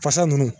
Fasa nunnu